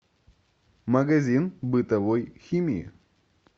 магазин бытовой химии